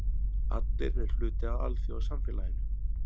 Allir eru hluti af alþjóðasamfélaginu.